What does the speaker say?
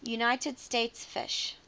united states fish